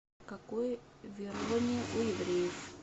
какое верование у евреев